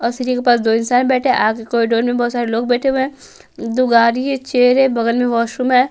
और सीरही के पास दो इंसान बैठे हैं आग कॉरिडोर लोग बैठे हुए हैं दु गारी चेयर है बगल में वॉशरूम है।